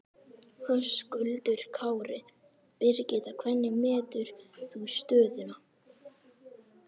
Höskuldur Kári: Birgitta, hvernig metur þú stöðuna?